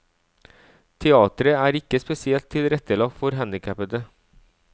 Teateret er ikke spesielt tilrettelagt for handikappede.